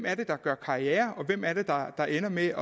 er der gør karriere og hvem det er der ender med